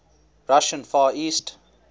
russian far east